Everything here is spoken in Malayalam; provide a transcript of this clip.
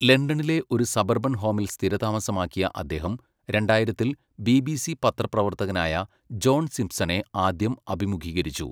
ലണ്ടനിലെ ഒരു സബർബൻ ഹോമിൽ സ്ഥിരതാമസമാക്കിയ അദ്ദേഹം, രണ്ടായിരത്തിൽ ബിബിസി പത്രപ്രവർത്തകനായ ജോൺ സിംപ്സണെ ആദ്യം അഭിമുഖീകരിച്ചു.